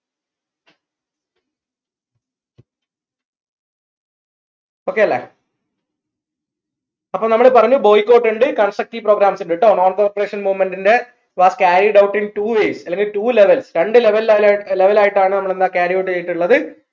okay അല്ലേ അപ്പൊ നമ്മൾ പറഞ്ഞു boycott ഇണ്ട് constructive programs ഇണ്ട് ട്ടോ non corporation movement ന്റെ was carried out in two ways അല്ലെങ്കിൽ two levels രണ്ട് ലവലാ level ആയിട്ടാണ് നമ്മൾ എന്താ carry out ചെയ്തിട്ടുള്ളത്